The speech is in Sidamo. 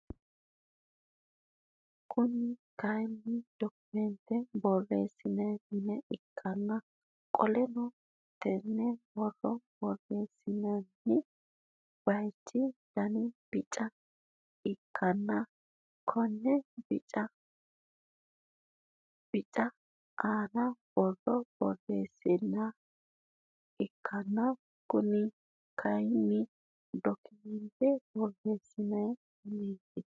Kuni kaayiini dokimeentte boreesinanni mine ikkana qoleno tenne borro boreesinooni bayiichi Dani bica ikkana konni bici aana borro boreesinooniha ikkana Kuni kaayiini dokimeenttete borote mineeti